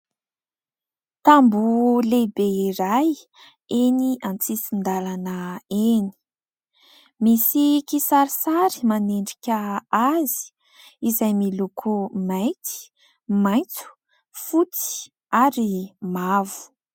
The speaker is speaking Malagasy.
Tamboho lehibe iray eny an-tsisin-dalana eny, misy kisarisary manendrika azy izay miloko : mainty, maitso, fotsy ary mavo.